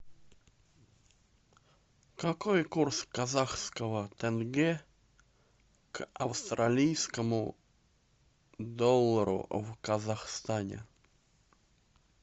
какой курс казахского тенге к австралийскому доллару в казахстане